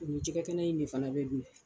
O ni jɛgɛ kɛnɛ in de fana bɛ dun.